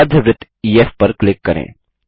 अर्धवृत्त EF पर click करें